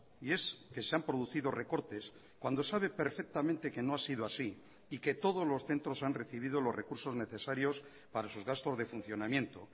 y es que se han producido recortes cuando sabe perfectamente que no ha sido así y que todos los centros han recibido los recursos necesarios para sus gastos de funcionamiento